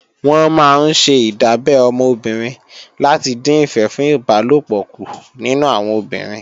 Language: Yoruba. Wọ́n máa ńṣe ìdábẹ́ ọmọ obìnrin láti dín ìfẹ́ fún ìbálòpọ̀ kù nínú àwọn obìnrin